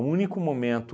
único momento